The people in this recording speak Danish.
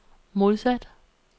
modsat